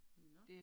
Nåh